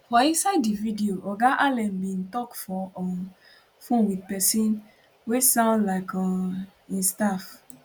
for inside di video oga allen bin dey tok for um phone wit pesin we sound um like im staff